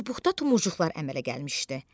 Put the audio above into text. Çubuqda tumurcuqlar əmələ gəlmişdi.